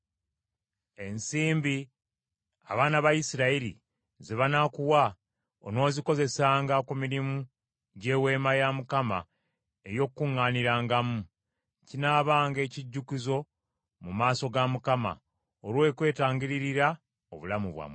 Ensimbi abaana ba Isirayiri ze banaakuwa onoozikozesanga ku mirimu gy’Eweema ey’Okukuŋŋaanirangamu. Kinaabanga ekijjukizo mu maaso ga Mukama , olw’okwetangirira obulamu bwammwe.”